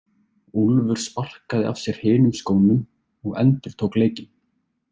Úlfur sparkaði af sér hinum skónum og endurtók leikinn.